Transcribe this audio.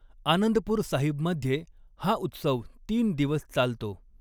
आनंदपूर साहिबमध्ये हा उत्सव तीन दिवस चालतो.